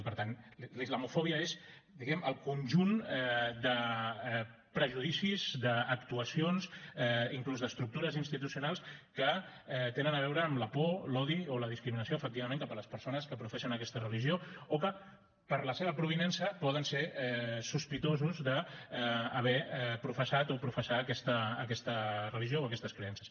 i per tant la islamofòbia és diguem ne el conjunt de prejudicis d’actuacions inclús d’estructures institucionals que tenen a veure amb la por l’odi o la discriminació efectivament cap a les persones que professen aquesta religió o que per la seva provinença poden ser sospitosos d’haver professat o professar aquesta religió o aquestes creences